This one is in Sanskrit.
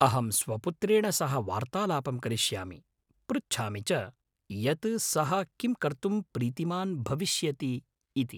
अहं स्वपुत्रेण सह वार्तालापं करिष्यामि, पृच्छामि च यत् सः किं कर्तुं प्रीतिमान् भविष्यति इति।